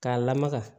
K'a lamaga